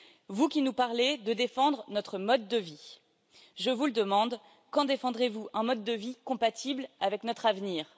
Vous qui nous parlez de défendre notre mode de vie, je vous le demande quand défendrez vous un mode de vie compatible avec notre avenir?